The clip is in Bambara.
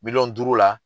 Miliyɔn duuru la